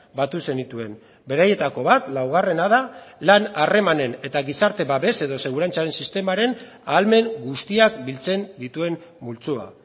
batu zenituen beraietako bat laugarrena da lan harremanen eta gizarte babes edo segurantzaren sistemaren ahalmen guztiak biltzen dituen multzoa